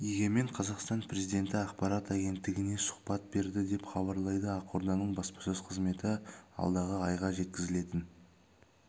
егемен қазақстан қазақстан президенті ақпарат агенттігіне сұхбат берді деп хабарлайды ақорданың баспасөз қызметі алдағы айда жеткізілетін